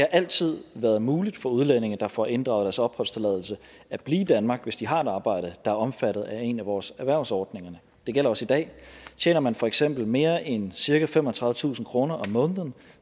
altid været muligt for udlændinge der får inddraget deres opholdstilladelse at blive i danmark hvis de har et arbejde der er omfattet af en af vores erhvervsordninger det gælder også i dag tjener man for eksempel mere end cirka femogtredivetusind kroner om måneden